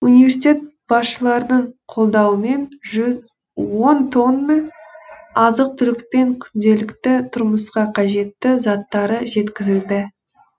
университет басшыларының қолдауымен он тонна азық түлік пен күнделікті тұрмысқа қажетті заттары жеткізілді